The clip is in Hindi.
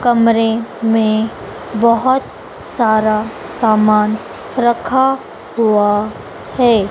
कमरे में बहोत सारा सामान रखा हुआ है।